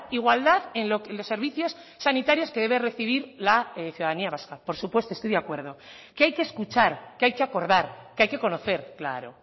igualdad en los servicios sanitarios que debe recibir la ciudadanía vasca por supuesto estoy de acuerdo que hay que escuchar que hay que acordar que hay que conocer claro